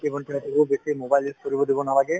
ভাইটি-ভণ্টিসকলক বেছি mobile use কৰিব দিব নালগে